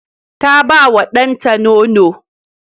Ta ba wa ɗanta nono.